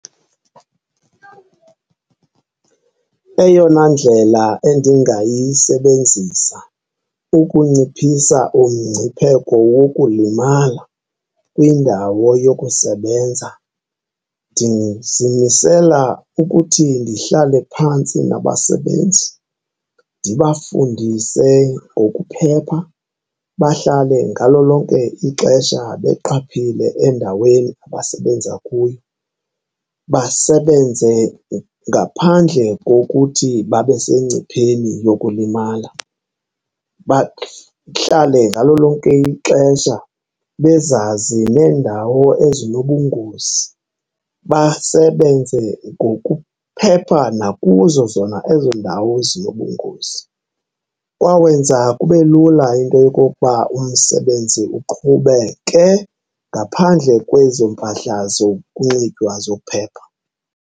Eyona ndlela endingayisebenzisa ukunciphisa umngcipheko wokulimala kwindawo yokusebenza ndizimisela ukuthi ndihlale phantsi nabasebenzi ndibafundise ngokuphepha, bahlale ngalo lonke ixesha beqaphile endaweni abasebenza kuyo, basebenze ngaphandle kokuthi babe sengcipheni yokulimala. Bahlale ngalo lonke ixesha bezazi nendawo ezinobungozi, basebenze ngokuphepha nakuzo zona ezo ndawo zinobungozi. Kwawenza kube lula into yokokuba umsebenzi uqhubeke ngaphandle kwezo mpahla zokunxitywa zokuphepha.